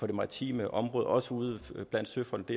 det maritime område også ude blandt søfolk